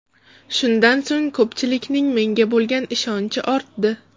Shundan so‘ng ko‘pchilikning menga bo‘lgan ishonchi ortdi.